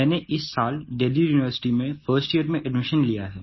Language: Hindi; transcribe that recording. मैंने इस साल देल्ही यूनिवर्सिटी में 1st यियर में एडमिशन लिया है